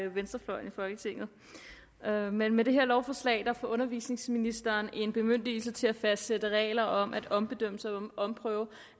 venstrefløjen i folketinget med med det her lovforslag får undervisningsministeren en bemyndigelse til at fastsætte regler om at ombedømmelse og omprøve